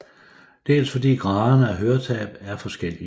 Dels fordi graderne af høretab er forskellige